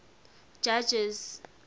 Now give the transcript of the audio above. judges